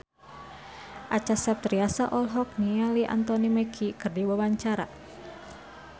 Acha Septriasa olohok ningali Anthony Mackie keur diwawancara